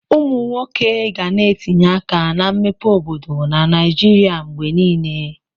Ụmụ nwoke ga na-etinye aka na mmepe obodo na Naijiria mgbe niile.